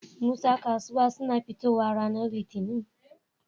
Musa kasuwa suna fitowa ranar litinin?